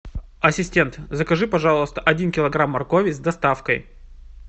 ассистент закажи пожалуйста один килограмм моркови с доставкой